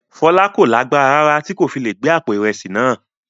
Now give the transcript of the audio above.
Fọlá kò lágbára rárá tí kò fi le gbé àpò ìrẹsì náà.